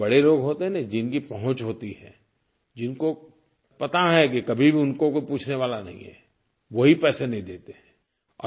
ये जो बड़े लोग होते हैं न जिनकी पहुँच होती है जिनको पता है कि कभी भी उनको कोई पूछने वाला नहीं है वो ही पैसे नहीं देते हैं